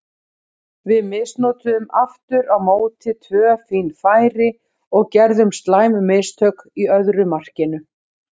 Við misnotuðum aftur á móti tvö fín færi og gerðum slæm mistök í öðru markinu.